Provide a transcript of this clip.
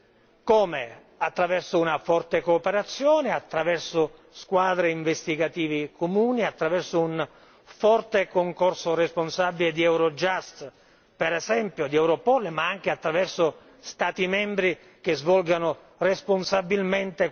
Attraverso una forte cooperazione, attraverso squadre investigative comuni, attraverso un forte concorso responsabile di Eurojust, per esempio, di Europol ma anche attraverso Stati membri che svolgano responsabilmente questa loro attività.